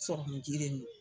Sɔrɔmun ji de min.